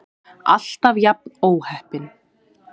Alltaf jafn óheppin!